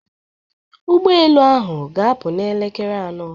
ụgbọ elu ahụ ga-apụ n'elekere anọ